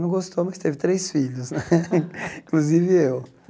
Não gostou, mas teve três filhos né, inclusive eu.